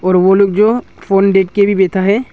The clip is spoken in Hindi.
और वो लोग जो फोन देखके भी बैठा है--